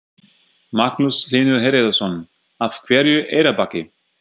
Magnús Hlynur Hreiðarsson: Af hverju Eyrarbakki?